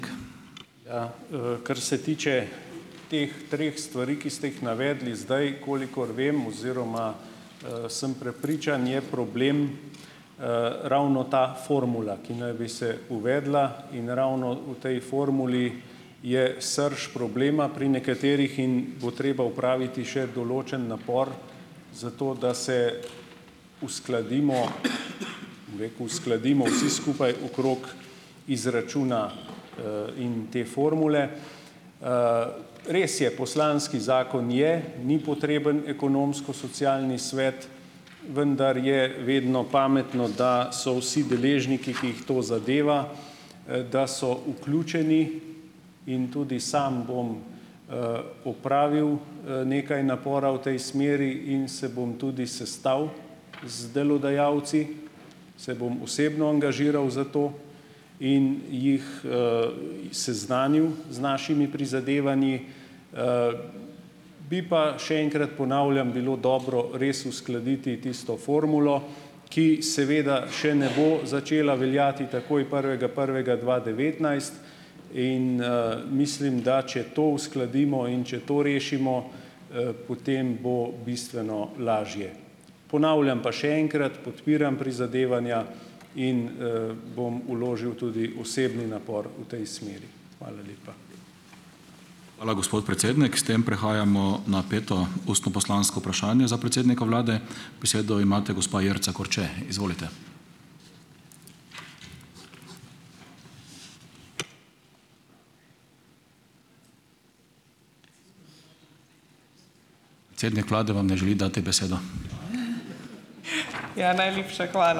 Ja, kar se tiče teh treh stvari, ki ste jih navedli zdaj, kolikor vem oziroma sem prepričan, je problem ravno ta formula, ki naj bi se uvedla in ravno v tej formuli je srž problema pri nekaterih in bo treba opraviti še določen napor za to, da se uskladimo, bom rekel, uskladimo vsi skupaj okrog izračuna in te formule. Res je, poslanski zakon je, ni potreben Ekonomsko-socialni svet, vendar je vedno pametno, da so vsi deležniki, ki jih to zadeva, da so vključeni in tudi sam bom opravil nekaj napora v tej smeri in se bom tudi sestal z delodajalci, se bom osebno angažiral za to in jih seznanil z našimi prizadevanji. Bi pa, še enkrat ponavljam, bilo dobro res uskladiti tisto formulo, ki seveda še ne bo začela veljati takoj prvega prvega dva devetnajst, in mislim, da če to uskladimo in če to rešimo, potem bo bistveno lažje. Ponavljam pa še enkrat, podpiram prizadevanja in bom vložil tudi osebni napor v tej smeri. Hvala lepa.